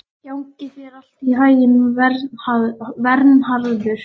Gangi þér allt í haginn, Vernharður.